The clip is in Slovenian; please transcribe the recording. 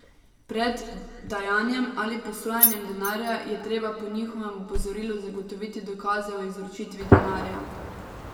Pred dajanjem ali posojanjem denarja je treba po njihovem opozorilu zagotoviti dokaze o izročitvi denarja.